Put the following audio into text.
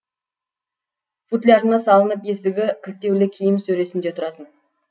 футлярына салынып есігі кілттеулі киім сөресінде тұратын